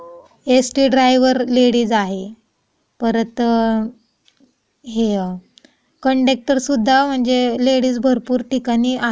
यास टी driver ladies आहे परत हे कॅन्डक्टर सुद्धा म्हणजे लेडीज भरपूर ठिकाणी आहेत.